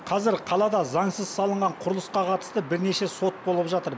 қазір қалада заңсыз салынған құрылысқа қатысты бірнеше сот болып жатыр